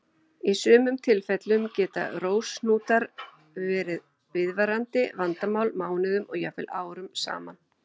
Í sumum tilfellum geta rósahnútar þó verið viðvarandi vandamál mánuðum og jafnvel árum saman.